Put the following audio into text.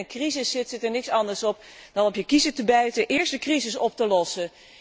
Als je midden in een crisis zit, zit er niets anders op dan op je kiezen te bijten en eerst de crisis op te lossen.